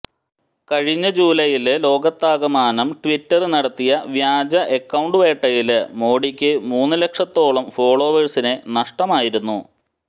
കഴിഞ്ഞ ജൂലൈയില് ലോകത്താകമാനം ട്വിറ്റര് നടത്തിയ വ്യാജ അക്കൌണ്ട് വേട്ടയില് മോഡിക്ക് മൂന്ന് ലക്ഷത്തോളം ഫോളോവേഴ്സിനെ നഷ്ടമായിരുന്നു